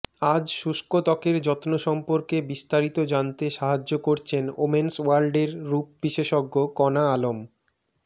আজ শুষ্ক ত্বকের যত্ন সম্পর্কে বিস্তারিত জানতে সাহায্য করছেন ওমেন্স ওয়ার্ল্ডের রূপ বিশেষজ্ঞ কণা আলম